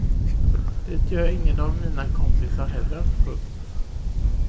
Det gör ingen av mina kompisar heller. punkt